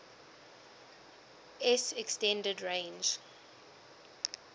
s extended range